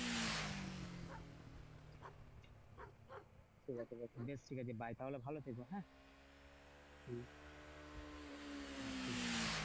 ঠিকাছে বেশ ঠিকাছে bye তাহলে ভালো থেকো হ্যাঁ?